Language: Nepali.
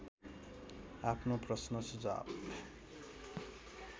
आफ्नो प्रश्न सुझाव